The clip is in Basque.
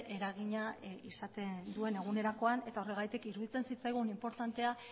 eragina izaten duen egunerokoan eta horregatik iruditzen zitzaigun inportantea